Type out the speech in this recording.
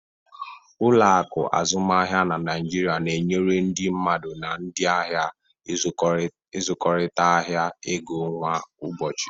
Ụlọ akụ azụmaahịa na Naịjirịa na-enyere ndị mmadụ na ndị ahịa ịzụkọrịta ahịa ego kwa ụbọchị.